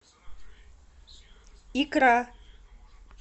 икра